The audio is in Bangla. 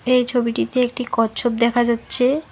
এই ছবিটিতে একটি কচ্ছপ দেখা যাচ্ছে।